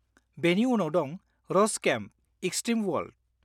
-बेनि उनाव दं 'रस केम्पः एक्स्ट्रिम अवार्ल्ड'।